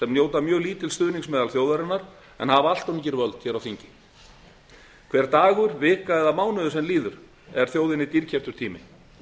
njóta mjög lítils stuðnings meðal þjóðarinnar en hafa allt of lítil öfl hér á þingi hver dagur vika eða mánuður sem líður er þjóðinni dýrkeyptur tími